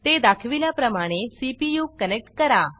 ते दाखविल्याप्रमाणे CPU connect करा